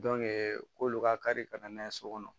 k'olu ka kari ka na n'a ye so kɔnɔ